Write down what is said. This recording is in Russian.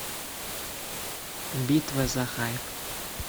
битва за хайп